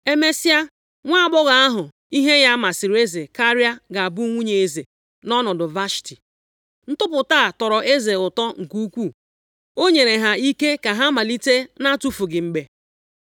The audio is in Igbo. Emesịa, nwaagbọghọ ahụ ihe ya masịrị eze karịa ga-abụ nwunye eze nʼọnọdụ Vashti.” Ntụpụta a tọrọ eze ụtọ nke ukwuu. O nyere ha ike ka ha malite na-atụfughị mgbe.